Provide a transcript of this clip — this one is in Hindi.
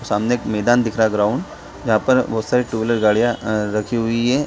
सामने एक मैदान दिख रहा ग्राउंड जहाँ पर बहुत सारी टू व्हीलर गाड़ियाँ अ रखी हुई हैं।